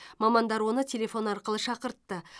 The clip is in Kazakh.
мамандар оны телефон арқылы шақыртты